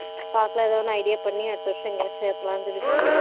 பாக்கலாம் ஏதோ ஒண்ணு idea பண்ணி அடுத்த வருஷம் எங்கயாச்சு சேத்தலாம் சொல்லிட்டுருக்காரு